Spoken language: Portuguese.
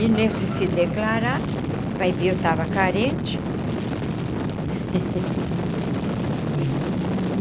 E nesse se declarar, vai ver eu estava carente.